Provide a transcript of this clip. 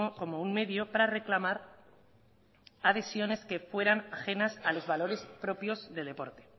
como un medio para reclamar adhesiones que fueran ajenas a los valores propios del deporte